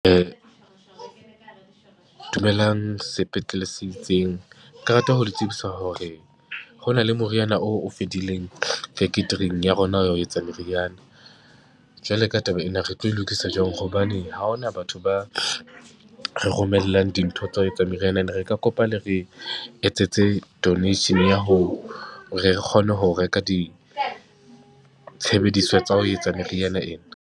dumelang sepetlele se itseng, ke rata ho le tsebisa hore ho na le moriana oo o fedileng faktoring ya rona ya ho etsa meriana. Jwale ka taba ena, re tlo e lokisa jwang hobane ha ho na batho ba re romellang dintho tsa ho etsa meriana, ene re ka kopa le re etsetse donation ya ho, hore re kgone ho reka ditshebediswa tsa ho etsa meriana ena.